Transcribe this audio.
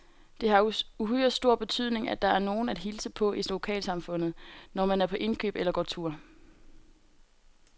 Det har uhyre stor betydning, at der er nogen at hilse på i lokalsamfundet, når man er på indkøb eller går tur.